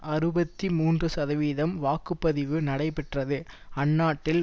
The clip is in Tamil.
அறுபத்தி மூன்று சதவீதம் வாக்கு பதிவு நடைபெற்றது அந்நாட்டில்